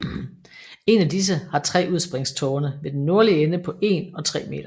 En af disse har tre udspringstårne ved den nordlige ende på en og tre meter